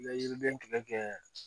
I bɛ yiriden kɛlɛ kɛ